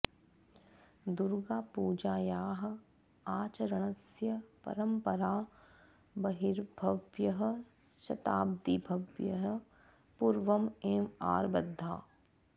दुर्गापूजायाः आचरणस्य परम्परा बह्वीभ्यः शताद्वीभ्यः पूर्वम् एव आरब्धा